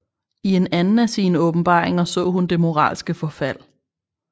I en anden af sine åbenbaringer så hun det moralske forfald